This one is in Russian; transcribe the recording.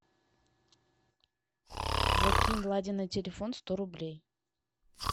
закинь владе на телефон сто рублей